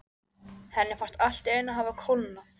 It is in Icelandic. Henni fannst allt í einu hafa kólnað.